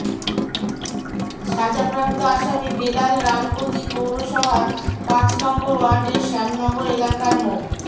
সাজাপ্রাপ্ত আসামি বেলাল রামগতি পৌরসভার পাঁচ নম্বর ওয়ার্ডের শ্যামনগর এলাকার মো